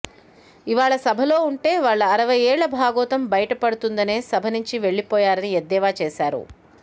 ఇవాళ సభలో ఉంటే వాళ్ల అరవై ఏళ్ల భాగోతం బయటపడుతుందనే సభ నుంచి వెళ్లిపోయారని ఎద్దేవా చేశారు